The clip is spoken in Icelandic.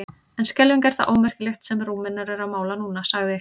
En skelfing er það ómerkilegt sem Rúmenar eru að mála núna, sagði